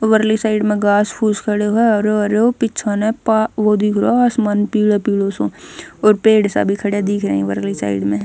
परली साइड म घास फूस खड़यो ह हरयो हरयोपीछे न पा वो दिख रयो ह आसमान पीलो पीलो सो और पेड़ सा भी खडया दिख रया ह परली साइड म।